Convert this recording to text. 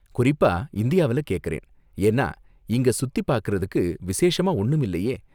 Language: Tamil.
குறிப்பா இந்தியாவுல கேக்கறேன், ஏன்னா இங்க சுத்தி பார்க்கறதுக்கு விசேஷமா ஒன்னும் இல்லையே!